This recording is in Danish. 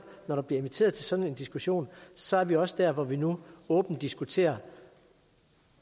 når der bliver inviteret til sådan en diskussion så er vi også der hvor vi nu åbent diskuterer